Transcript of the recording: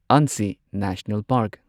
Anshi national park